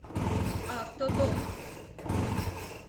автодок